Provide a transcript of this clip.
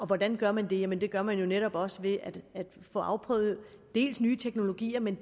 hvordan gør man det jamen det gør man jo netop også ved at få afprøvet nye teknologier men